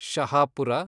Shahapur